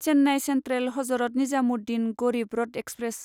Chennai central Hazrat Nizamuddin Garib Rath express